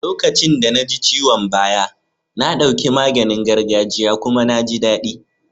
Lokacin da na ji ciwon baya, na ɗauki maganin gargajia kuma na jin daɗi.